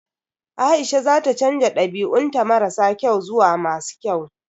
Aisha za ta canza dabi'un ta mara kyau zuwa masu kyau.